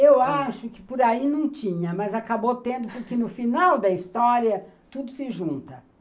Eu acho que por aí não tinha, mas acabou tendo porque no final da história tudo se junta.